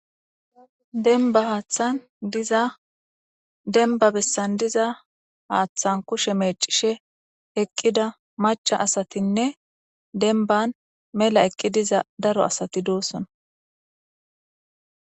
denba haaththan diza denba bessan diza haaththan kushe meecishe eqqida macha asatinne denban mela eqqi diza daro asati doossona